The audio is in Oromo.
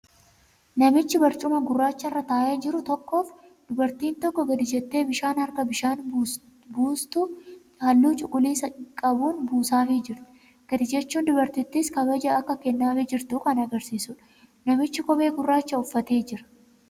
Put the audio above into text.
Namichi barcuma gurraacharra taa'ee jiru tokkoof dubartiin tokko gad jettee bishaan harkaa bishaan buustuu halluu cuquliisa qabuun buusaafii jirti. Gad jechuun dubartittiis kabaja akka kennaafii jirtu kan agarsiisudha. Namichis kophee gurraacha uffatee jira.